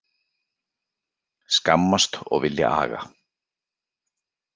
Skammast og vilja aga